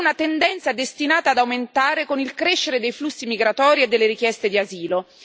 Ed è una tendenza destinata ad aumentare con il crescere dei flussi migratori e delle richieste di asilo.